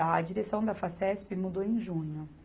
A direção da Facesp mudou em junho.